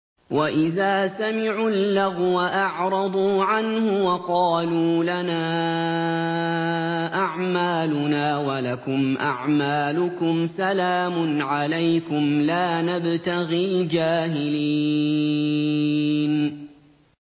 وَإِذَا سَمِعُوا اللَّغْوَ أَعْرَضُوا عَنْهُ وَقَالُوا لَنَا أَعْمَالُنَا وَلَكُمْ أَعْمَالُكُمْ سَلَامٌ عَلَيْكُمْ لَا نَبْتَغِي الْجَاهِلِينَ